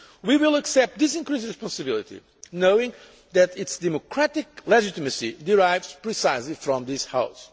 We will accept this increased responsibility knowing that its democratic legitimacy derives precisely from this House.